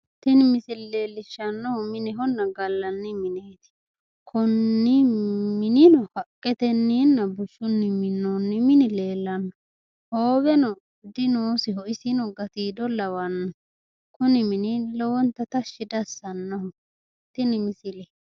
Tini misile leellishshannohu minehonna gallanni mineeti. Konni minino haqqetenninna bushshunni minoonni mini leellanno. Hooweno dinoosiho. Isino gatiido lawanno. Kuni mini lowonta tashshi diassannoho. Tini misile.